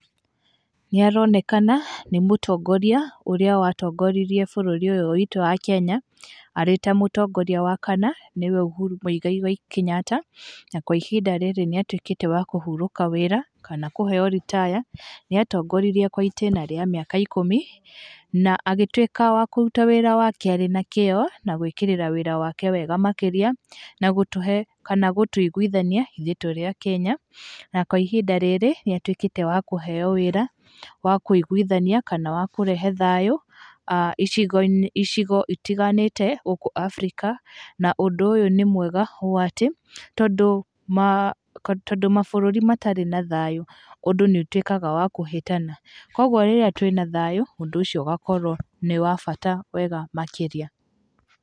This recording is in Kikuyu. Nĩ aronekana nĩ mũtongoria ũrĩa watongoririe bũrũri ũyũ witũ wa Kenya, arĩ ta mũtongoria wa kana, nĩ we ũhuru mũigai wa Kenyatta, na kwa ihinda rĩrĩ nĩatuĩkĩte wa kũhurũka wĩra kana kũheyo ritaya, nĩ atongoririe kwa itĩna rĩa mĩaka ikũmi na agĩtuĩka wa kũruta wĩra wake arĩ na kĩo, na gwĩkĩrĩra wĩra wake wega makĩria, na gũtũhe kana gũtũiguithania ithuĩ tũrĩ akenya, na kwa ihinda rĩrĩ nĩ atuĩkĩte wa kũheyo wĩra wa kũiguithania kana wa kũrehe thayũ icigo itiganĩte gũkũ Abirika, na ũndũ ũyũ nĩ mwega ũũ atĩ, tondũ mabũrũri matarĩ na thayũ, ũndũ nĩ ũtuĩkaga wa kũhĩtana, koguo rĩrĩa twĩna thayũ, ũndũ ũcio ũgakorwo nĩ wa bata wega makĩria.